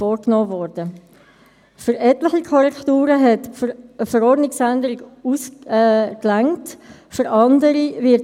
Ich komme sobald als möglich wieder herein, aber ich bin sicher, dass er dies souverän machen wird.